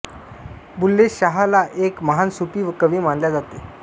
बुल्ले शाह ला एक महान सूफी कवि मानल्या जाते